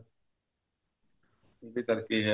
ਇਹਦੇ ਕਰਕੇ ਆ